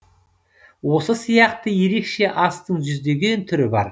осы сияқты ерекше астың жүздеген түрі бар